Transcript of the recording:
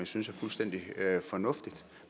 synes er fuldstændig fornuftigt